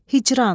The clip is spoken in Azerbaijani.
Hicran.